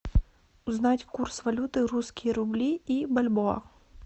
узнать курс валюты русские рубли и бальбоа